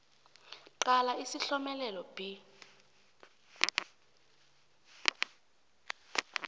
qala isihlomelelo b